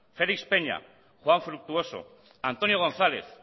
félix peña juan fructuoso antonio gonzález